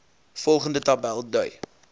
volgende tabel dui